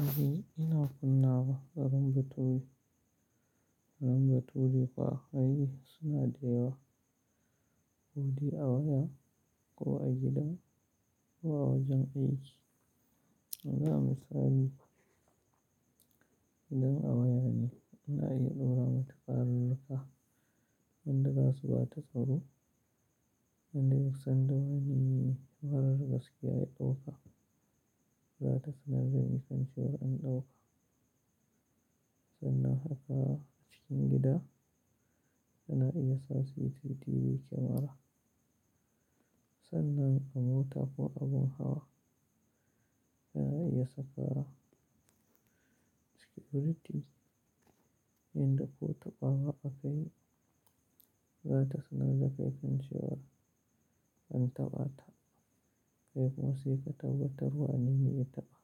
Aji ina kunna wa farin bature, farin bature kuwa ai suna dayawa. Kodai a waya ko a gidan ko a wajen aiki. Na yi misali, idan a waya ne, ina iya ɗora matukar lalka wanda ba su ba ta tsaro, wanda ya kusan da wani marar gaskiya ya ɗauka, za ta sanar da kai kan cewar an ɗauka. Sannan haka a cikin gida, ina iya sa CCTV camera. Sannan a mota ko abun hawa, zan iya sakawa. Security, idan ko taɓawa aka yi, za ta sanar da kai kan cewar an taɓa ta. Kai kuma sai ka tabbatar wanene ya taɓa,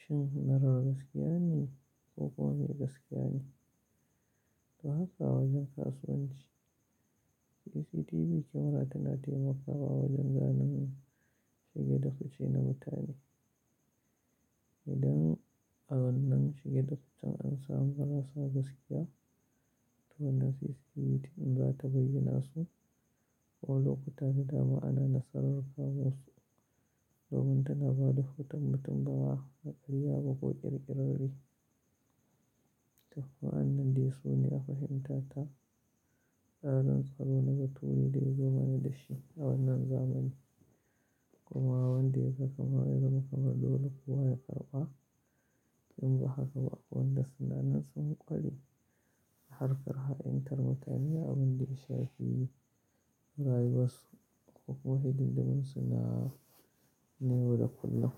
shin marar gaskiya ne ko kuwa mai gaskiya ne. To haka a wajen kasuwanci, CCTV camera tana taimakawa wajen gane shige da fice na mutane. Idan a wannan shige da ficen an samu marasa gaskiya, to wannan CCTV in za ta bayyana su ko lokuta gida ba ana nasarar kama su domin tana ba da hoton mutum bawa na ƙarya ba ko ƙirƙirarre. To ko wa'annandai su ne a fahimta ta, al'adun tsaro na da tuwi dai zuwa na da shi a wannan zamani. Kuma wanda ya ga kamar ya gama ba dole kuwa ya karɓa. Tun ba haka ba akwai dandasuna nan sun ƙware a harkar ha'intar mutane da abin da ya shafi rayuwarsu ko kuwa hidimdimin suna na yauda kullum.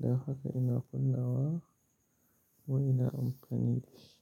Dan haka ina kunna wa ko ina amfani da shi.